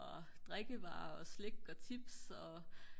og drikkevarer og slik og chips og